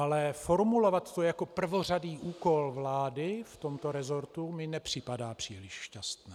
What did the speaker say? Ale formulovat to jako prvořadý úkol vlády v tomto resortu mi nepřipadá příliš šťastné.